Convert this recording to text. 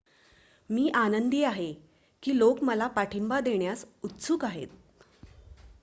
मी आनंदी आहे की लोक मला पाठिंबा देण्यास उत्सुक आहेत